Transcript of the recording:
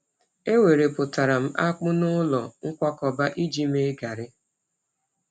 E werepụtara m akpụ n’ụlọ nkwakọba iji mee gari.